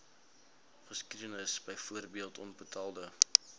geskiedenis byvoorbeeld onbetaalde